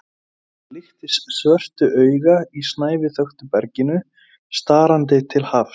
Það líktist svörtu auga í snæviþöktu berginu, starandi til hafs.